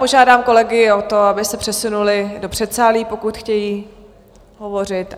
Požádám kolegy o to, aby se přesunuli do předsálí, pokud chtějí hovořit.